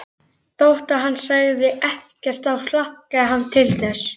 Þótt hann segði ekkert þá hlakkaði hann til þess.